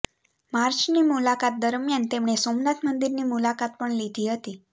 માર્ચની મુલાકાત દરમિયાન તેમણે સોમનાથ મંદિરની મુલાકાત પણ લીધી હતી